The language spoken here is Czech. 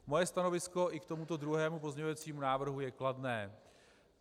Moje stanovisko i k tomuto druhému pozměňovacímu návrhu je kladné.